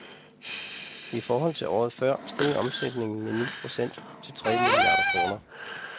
I forhold til året før steg omsætningen med ni procent til tre milliarder kroner.